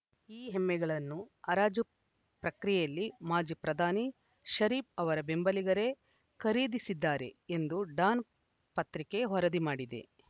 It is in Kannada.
ಈ ಎಮ್ಮೆಗಳನ್ನು ಹರಾಜು ಪ್ರಕ್ರಿಯೆಯಲ್ಲಿ ಮಾಜಿ ಪ್ರಧಾನಿ ಷರೀಫ್‌ ಅವರ ಬೆಂಬಲಿಗರೇ ಖರೀದಿಸಿದ್ದಾರೆ ಎಂದು ಡಾನ್‌ ಪತ್ರಿಕೆ ವರದಿ ಮಾಡಿದೆ